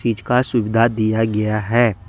चीज का सुविधा दिया गया है।